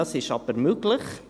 Das ist aber möglich.